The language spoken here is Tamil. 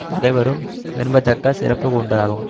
பகைவரும் விரும்பத்தக்க சிறப்பு உண்டதாகும்